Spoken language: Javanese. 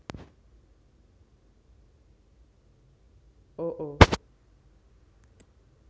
o o